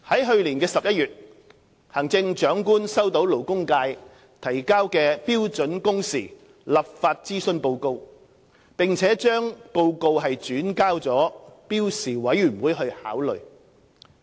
去年11月，行政長官收到勞工界提交的《標準工時立法諮詢報告》，並將該報告轉交標時委員會考慮。